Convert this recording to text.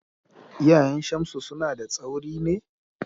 Iyayen Shamsu suna da tsauri ne?